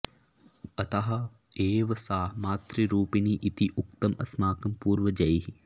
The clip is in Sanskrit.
अतः एव सा मातृरूपिणी इति उक्तम् अस्माकं पूर्वजैः